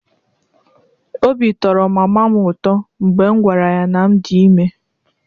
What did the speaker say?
Obi tọrọ mama m ụtọ mgbe m gwara ya na m dị ime.